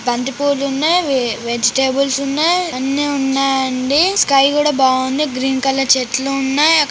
బంతిపూలు ఉన్నాయి. ఈ వెజిటేబుల్స్ ఉన్నాయి. అన్ని ఉన్నాయండి స్కై కూడా బాగుంది గ్రీన్ కలర్ చెట్లు ఉన్నాయి.